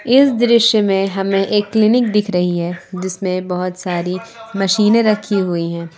इस दृश्य में हमें एक क्लीनिक दिख रही है जिसमें बहुत सारी मशीनें रखी हुई हैं।